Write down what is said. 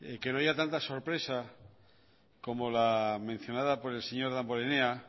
que no haya tantas sorpresas como la mencionada por el señor damborenea